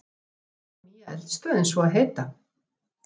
Hvað á nýja eldstöðin svo að heita?